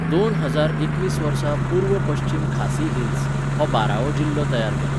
दोन हजार एकवीस वर्सा पूर्व पश्चीम खासी हिल्स, हो बारावो जिल्लो तयार केलो.